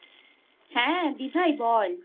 হ্যাঁ দিভাই বল।